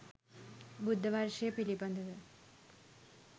බුද්ධ වර්ෂය පිළිබඳව